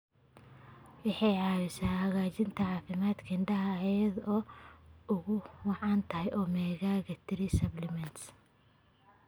Waxay caawisaa hagaajinta caafimaadka indhaha iyada oo ay ugu wacan tahay omega-3 supplements.